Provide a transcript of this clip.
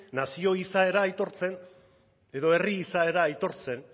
nazio izaera aitortzen edo herri izaera aitortzen